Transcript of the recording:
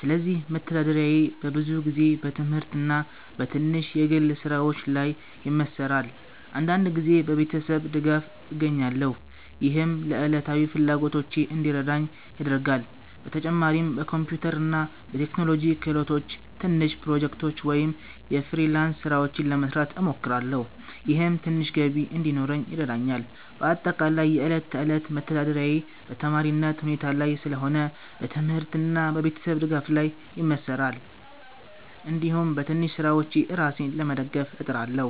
ስለዚህ መተዳደሪያዬ በብዙ ጊዜ በትምህርት እና በትንሽ የግል ስራዎች ላይ ይመሠራል። አንዳንድ ጊዜ በቤተሰብ ድጋፍ እገኛለሁ፣ ይህም ለዕለታዊ ፍላጎቶቼ እንዲረዳኝ ያደርጋል። በተጨማሪም በኮምፒውተር እና በቴክኖሎጂ ክህሎቶቼ ትንሽ ፕሮጀክቶች ወይም የፍሪላንስ ስራዎች ለመስራት እሞክራለሁ፣ ይህም ትንሽ ገቢ እንዲኖረኝ ይረዳኛል። በአጠቃላይ የዕለት ተዕለት መተዳደሪያዬ በተማሪነት ሁኔታ ላይ ስለሆነ በትምህርት እና በቤተሰብ ድጋፍ ላይ ይመሠራል፣ እንዲሁም በትንሽ ስራዎች ራሴን ለመደገፍ እጥራለሁ።